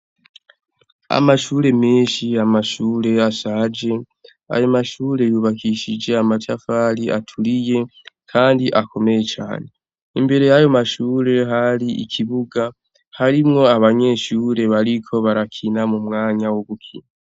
Amashure menshi , amashure ashaje ayo mashure yubakishije amatafari aturiye kandi akomeye cane imbere y' ayo mashure hari ikibuga harimwo abanyeshure bariko barakina mu mwanya wo gukina.